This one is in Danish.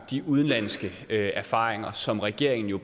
de udenlandske erfaringer som regeringen jo